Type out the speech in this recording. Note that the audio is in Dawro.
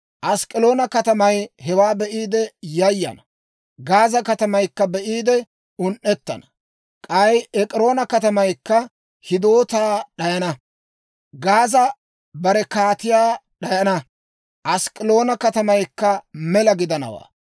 Ask'k'aloona katamay hewaa be'iide yayana; Gaaza katamaykka be'iide un"etsana; k'ay Ek'iroona katamaykka hidoota d'ayana. Gaaza bare kaatiyaa d'ayana; Ask'k'aloona katamaykka mela gidanawaa.